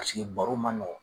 paseke baro ma nɔgɔ